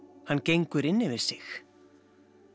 hann gengur inn yfir sig